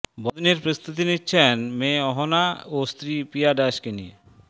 বড়দিনের প্রস্তুতি নিচ্ছেন মেয়ে অহনা ও স্ত্রী প্রিয়া ডায়েসকে নিয়ে